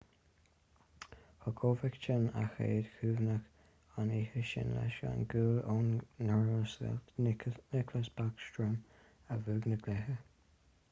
thug oveckhin a chéad chúnamh an oíche sin leis an gcúl ón nglasearcach nicklas backstrom a bhuaigh an cluiche